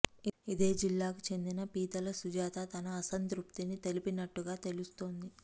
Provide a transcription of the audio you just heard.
ఇదే జిల్లాకు చెందిన పీతల సుజాత తన అసంతృప్తిని తెలిపినట్టుగా తెలుస్తోంది